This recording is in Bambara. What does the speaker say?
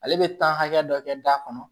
Ale bɛ taa hakɛ dɔ kɛ da kɔnɔ